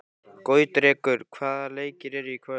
Gautrekur, hvaða leikir eru í kvöld?